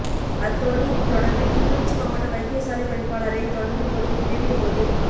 அத்தோடு இது தொடர்பில் கிளிநொச்சி மாவட்ட வைத்தியசாலைப் பணிப்பாளரை தொடர்பு கொண்டு வினவிய போது